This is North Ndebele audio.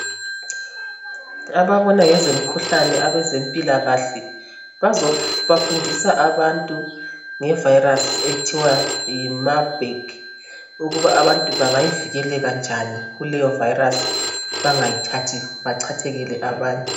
Ababona ngezemkhuhlane, abezempilakahle. Bazefundisa abantu ngevirus okuthiwa yiMarburg. Ukuthi abantu bangavikeleka njani kuleyovirus. Bangayithathi. Bachathekele abanye.